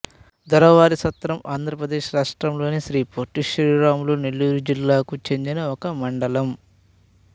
దొరవారిసత్రము ఆంధ్ర ప్రదేశ్ రాష్ట్రములోని శ్రీ పొట్టి శ్రీరాములు నెల్లూరు జిల్లాకు చెందిన ఒక మండలం